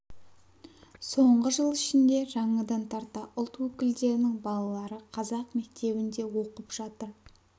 соңғы жыл ішінде жаңадан тарта ұлт өкілдерінің балалары қазақ мектебінде оқып жатыр